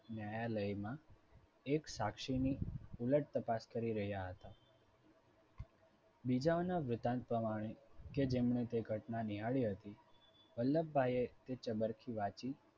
ન્યાયાલયમાં એક સાક્ષીની ઉલટ તપાસ કરી રહ્યા હતા. બીજાઓના વૃતાંત પ્રમાણે કે જેમણે તે ઘટના નિહાળી હતી વલ્લભભાઈએ ચબરખી વાંચી